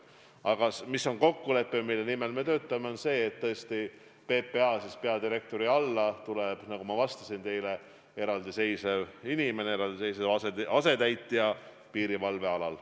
Aga kokkulepe, mille nimel me töötame, on see, et PPA peadirektori alla tuleb, nagu ma juba ütlesin, eraldi asetäitja piirivalve alal.